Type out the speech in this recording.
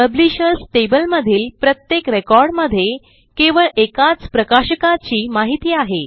publishers table मधील प्रत्येक रेकॉर्डमध्ये केवळ एकाच प्रकाशकाची माहिती आहे